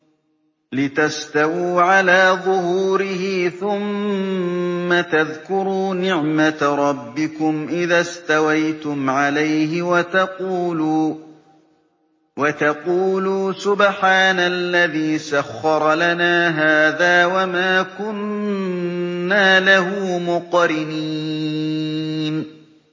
لِتَسْتَوُوا عَلَىٰ ظُهُورِهِ ثُمَّ تَذْكُرُوا نِعْمَةَ رَبِّكُمْ إِذَا اسْتَوَيْتُمْ عَلَيْهِ وَتَقُولُوا سُبْحَانَ الَّذِي سَخَّرَ لَنَا هَٰذَا وَمَا كُنَّا لَهُ مُقْرِنِينَ